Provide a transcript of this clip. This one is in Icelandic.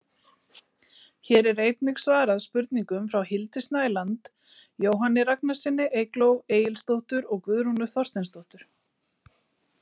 Hér er einnig svarað spurningum frá Hildi Snæland, Jóhanni Ragnarssyni, Eygló Egilsdóttur og Guðrúnu Þorsteinsdóttur.